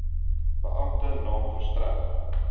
beampte naam verstrek